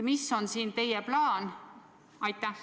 Milline on teie plaan?